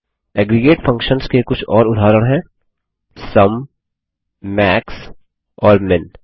aggregate functions के कुछ और उदाहरण हैं सुम मैक्स और मिन